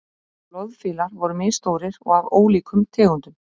loðfílar voru misstórir og af ólíkum tegundum